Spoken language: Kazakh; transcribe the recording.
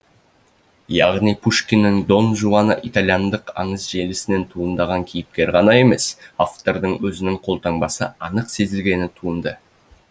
яғни пушкиннің дон жуаны итальяндық аңыз желісінен туындаған кейіпкер ғана емес автордың өзінің қолтаңбасы анық сезілгені туынды